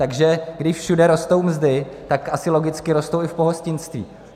Takže když všude rostou mzdy, tak asi logicky rostou i v pohostinství.